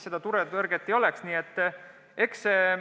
Eks tõde on kuskil vahepeal.